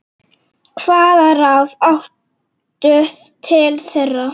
Hvaða ráð áttu til þeirra?